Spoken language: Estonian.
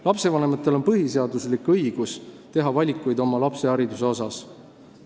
Lastevanematel on põhiseaduslik õigus teha valikuid oma lapse hariduse asjus.